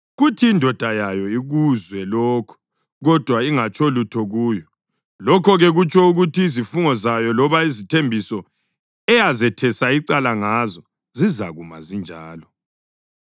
kuthi indoda yayo ikuzwe lokho kodwa ingatsho lutho kuyo, lokho-ke kutsho ukuthi izifungo zayo loba izithembiso eyazethesa icala ngazo zizakuma zinjalo.